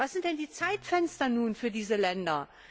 Was sind denn nun die Zeitfenster für diese Länder?